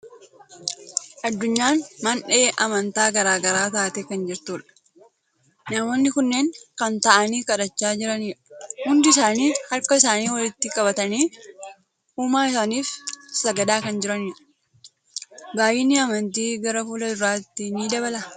Addunyaan mandhee amantaa garaa garaa taatee kan jirtudha. Namoonni kunneen kan taa'anii kadhachaa jirandha. Hundi isaanii harka isaanii walitti qabatanii uumaa isaaniif sagadaa kan jiranidha. Baay'inni amantii gara fuula duraatti ni dabala.